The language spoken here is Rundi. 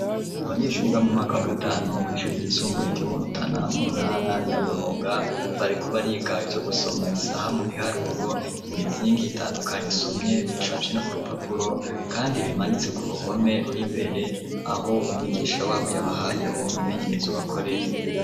Abanyeshuri, biga mu mwaka wa gatanu, kw'ishuri ryisumbuye, ryo mu Rutana, mu ntara ya Burunga, bariko bariga ivyo gusoma isaha, mu biharuro; imizingi itandukanye, isomye icafye no ku rupapuro, kandi bimanitse ku ruhome, ruri mbere, aho umwigisha wabo, yabahaye uwo mwimenyerezo, bakore.